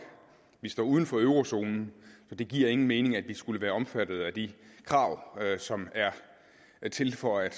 vi står uden for eurozonen så det giver ingen mening at vi skulle være omfattet af de krav som er til for at